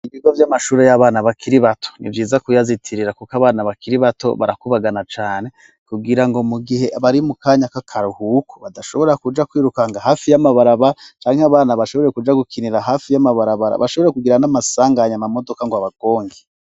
Ibigo by'amashure y'abana bakiri bato ni vyiza kuyazitirira kuko abana bakiri bato barakubagana cane kubgira ngo mu gihe bari mu kanya kakaruhuku badashobora kuja kwiruka nga hafi y'amabaraba cane 'abana bashobore kuja gukinira hafi y'amabarabara bashobore kugira n'amasanganye ama modoka ngo abagonge.